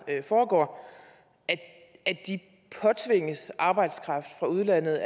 foregår påtvinges arbejdskraft fra udlandet